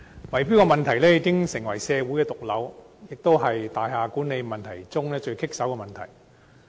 圍標問題已成為社會的毒瘤，也是大廈管理中最棘手的問題。